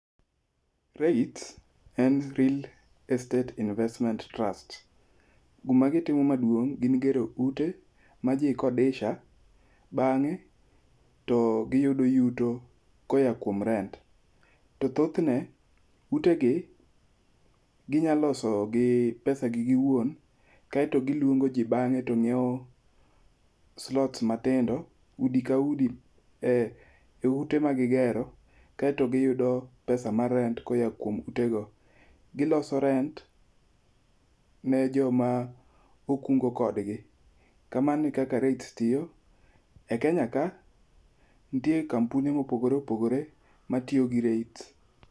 REITs en Real Estate Investment Trust. Gima gitimo maduong' en gero ute ma ji kodesha bang'o to giyudo yuto koya kuom rent. To thothne, ute gi ginya loso gi pesa gi giwuon, kaeto giluongo ji bang'e to ng'iewo slots matindo udi ka udi e ute ma gigero. Kaeto giyudo pesa mar rent koya kuom ute go. Giloso rent ne joma okungo kodgi, kamano e kaka REITs tiyo. E Kenya ka, nitie kampune mopogore opogore matiyo gi REITs.